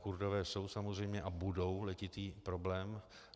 Kurdové jsou samozřejmě - a budou - letitý problém.